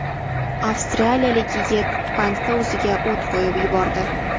Avstraliyalik yigit bankda o‘ziga o‘t qo‘yib yubordi.